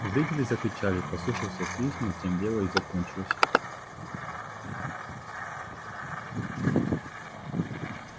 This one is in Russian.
зрители закричали послышался свист но тем дело и закончилось